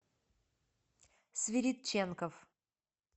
свиридченков